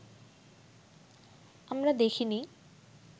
আমরা দেখিনি